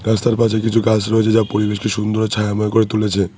রাস্তার পাশে কিছু গাছ রয়েছে যা পরিবেশকে সুন্দর ও ছায়াময় করে তুলেছে।